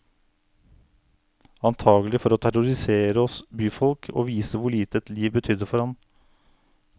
Antakelig for å terrorisere oss byfolk og vise hvor lite et liv betydde for ham.